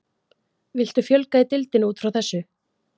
Viltu fjölga í deildinni útfrá þessu?